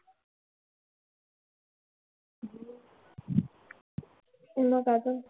मग आता?